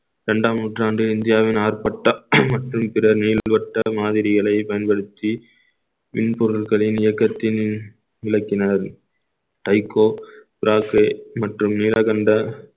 இரண்டாம் நூற்றாண்டு இந்தியாவின் ஆர்ப்பாட்டம் மற்றும் பிற நீள்வட்ட மாதிரிகளை பயன்படுத்தி மின்பொருள்களின் இயக்கத்தின் விளக்கினார் வைகோ மற்றும் நீலகண்ட